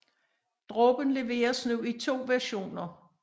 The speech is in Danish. Dråben leveres nu i to versioner